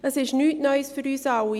Es ist für uns alle nichts Neues;